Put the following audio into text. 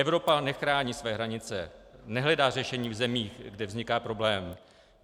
Evropa nechrání své hranice, nehledá řešení v zemích, kde vzniká problém.